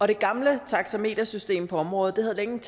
det gamle taxametersystem på området havde længe